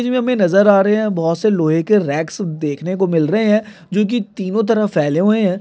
हम हमे नजर आ रहे है बोहोत से लोहे के रैक्स देखने को मिल रहे है जो की तीनों तरफ फैले हुवे है।